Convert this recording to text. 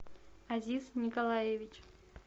азиз николаевич